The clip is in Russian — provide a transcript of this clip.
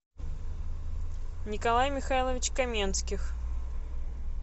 николай михайлович каменских